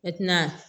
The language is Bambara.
E tɛna